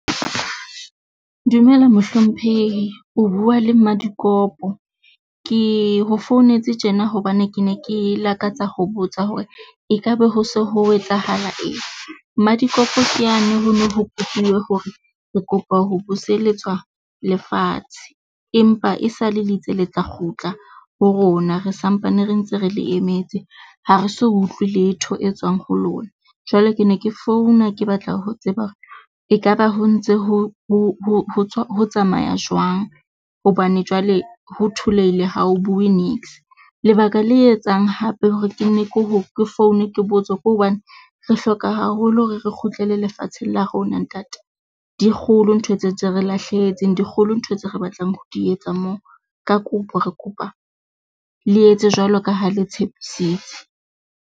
Dumela mohlomphehi o bua le Madikopo. Ke ho founetse tjena hobane ke ne ke lakatsa ho botsa hore ekaba ho so ho etsahala eng? Madikopo ke yane hono ho kopuwe hore re kopa ho buseletswa lefatshe empa e sale le itse le tla kgutla ho rona re sampane re ntse re le emetse. Ha re so utlwe letho e tswang ho lona. Jwale ke ne ke founa, ke batla ho tseba hore ekaba ho ntse ho tsamaya jwang? Hobane jwale ho tholeile ha o bue niks lebaka le etsang hape hore ke nne ke ho ke foune ke botse ke hobane re hloka haholo hore re kgutlele lefatsheng la rona ntate. Dikgolo ntho tse tse re lahlehetseng dikgolo ntho tse re batlang ho di etsa moo. Ka kopo re kopa le etse jwalo ka ha le tshepisitse.